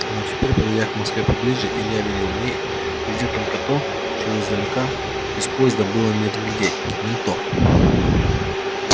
но теперь подойдя к москве поближе илья видел в ней везде только то чего издалека из поезда было не разглядеть ментов